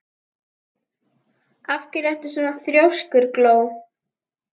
Af hverju ertu svona þrjóskur, Gló?